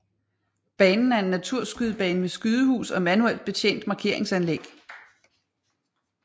Banen er en naturskydebane med skydehus og manuelt betjent markeringsanlæg